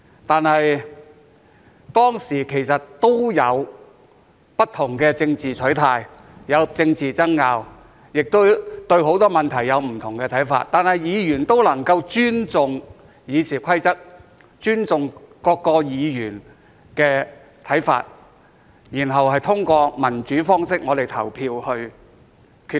當時，議員之間其實也有不同的政治取態、有政治爭拗、對很多問題有不同的看法，但議員也能夠尊重《議事規則》、尊重其他議員的看法，然後通過民主方式表決作出決定。